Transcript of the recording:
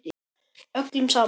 Öllum sama.